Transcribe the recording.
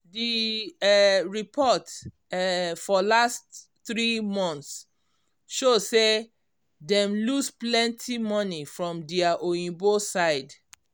d um report um for last three months show say dem lose plenty money from dia oyinbo side